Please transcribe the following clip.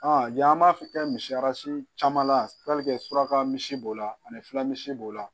jan b'a kɛ misi caman la suraka misi b'o la ani fulamisi b'o la